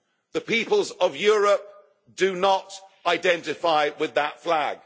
The peoples of Europe do not identify with that flag.